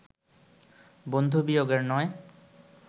বন্ধুবিয়োগের নয়